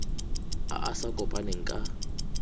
a a sa kopaneng ka